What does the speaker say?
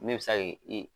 Ne bɛ se k'i